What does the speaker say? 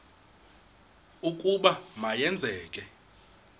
ukuba ma yenzeke